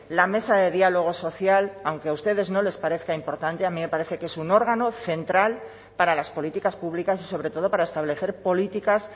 la mesa de diálogo social aunque a ustedes no les parezca importante a mí me parece que es un órgano central para las políticas públicas y sobre todo para establecer políticas